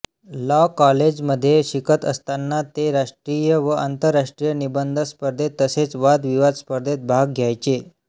law कॉलेजमध्ये शिकत असताना ते राष्ट्रीय व आंतरराष्ट्रीय निबंध स्पर्धेत तसेच वादविवाद स्पर्धेत भाग घ्यायचे